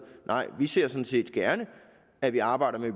vi ser sådan set gerne at vi arbejder med